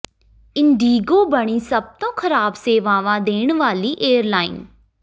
IndiGo ਬਣੀ ਸਭ ਤੋਂ ਖ਼ਰਾਬ ਸੇਵਾਵਾਂ ਦੇਣ ਵਾਲੀ ਏਅਰਲਾਈਨ